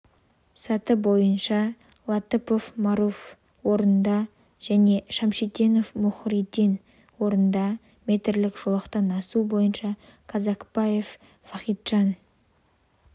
саты бойынша латыпов маруф орында және шамшитдинов мухридин орында метрлік жолақтан асу бойынша казакбаев вахиджан